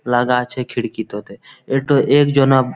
লাগা আছে খিড়কিটোতে এতো একজনাব--